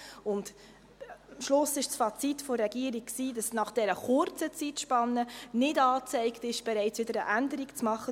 Am Schluss war das Fazit der Regierung, dass es nach dieser kurzen Zeitspanne nicht angezeigt ist, wieder eine Änderung zu machen.